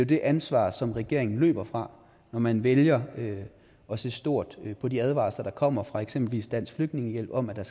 det ansvar som regeringen løber fra når man vælger at se stort på de advarsler der kommer fra eksempelvis dansk flygtningehjælp om at der